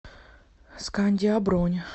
скандиа бронь